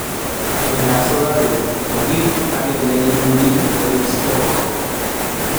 Myondab sukaruk ko kiit age neimuch koib stroke